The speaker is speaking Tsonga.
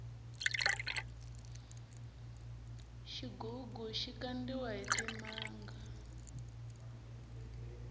xigugu xi kandiwa hi timanga